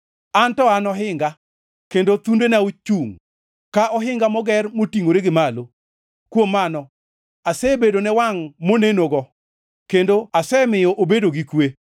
An to an ohinga, kendo thundena ochungʼ, ka ohinga moger motingʼore gi malo. Kuom mano, asebedone wangʼ monenogo, kendo asemiyo obedo gi kwe.